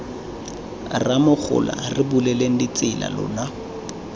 rramogola re buleleng ditsela lona